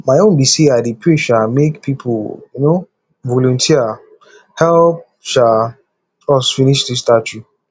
my own be say i dey pray um make people um volunteer help um us finish dis statue